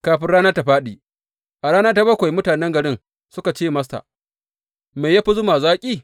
Kafin rana ta fāɗi a rana ta bakwai mutane garin suka ce masa, Me ya fi zuma zaki?